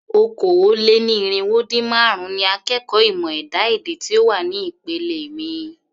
Okòó-lé-ní-irínwó-dín-márùn-ún ni akẹ́kọ̀ọ́ ìmọ̀ ẹ̀dá-èdè tí ó wà ní ìpele mi.